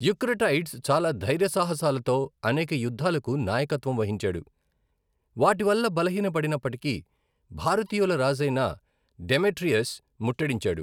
Eucratides చాలా ధైర్యసాహసాలతో అనేక యుద్ధాలకు నాయకత్వం వహించాడు. వాటివల్ల బలహీనపడినప్పటికీ, భారతీయుల రాజైన డెమెట్రియస్ ముట్టడించాడు.